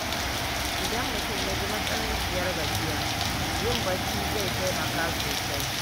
Idan mutum ya ji matsananciyar gajiya, yin barci zai taimaka sosai.